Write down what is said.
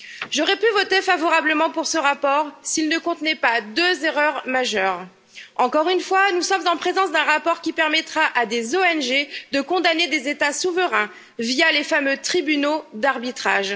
J'aurais pu voter favorablement pour ce rapport, s'il ne contenait pas deux erreurs majeures. Premièrement, encore une fois, nous sommes en présence d'un rapport qui permettra à des ONG de condamner des États souverains via les fameux tribunaux d'arbitrage.